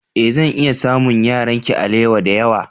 Ee, zan iya samun yaranki alewa da yawa.